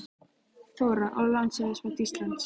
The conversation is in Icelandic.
Þóra: Og lánshæfismat Íslands?